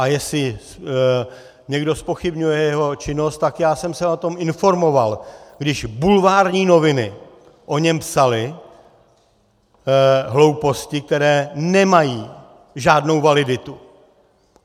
A jestli někdo zpochybňuje jeho činnost, tak já jsem se o tom informoval, když bulvární noviny o něm psaly hlouposti, které nemají žádnou validitu.